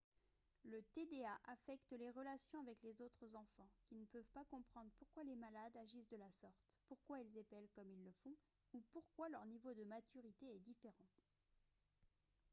le tda affecte les relations avec les autres enfants qui ne peuvent pas comprendre pourquoi les malades agissent de la sorte pourquoi ils épellent comme ils le font ou pourquoi leur niveau de maturité est différent